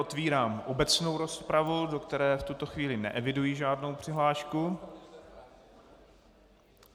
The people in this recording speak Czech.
Otevírám obecnou rozpravu, do které v tuto chvíli neeviduji žádnou přihlášku.